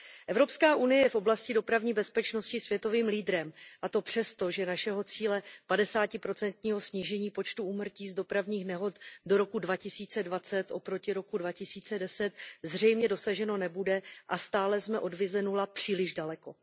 Evropská unie je v oblasti dopravní bezpečnosti světovým lídrem, a to přesto, že našeho cíle padesátiprocentního snížení počtu úmrtí z dopravních nehod do roku 2020 oproti roku 2010 zřejmě dosaženo nebude a stále jsme od vize nula příliš daleko.